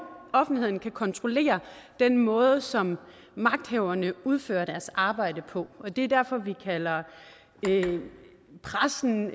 offentligheden kan kontrollere den måde som magthaverne udfører deres arbejde på det er derfor vi også kalder pressen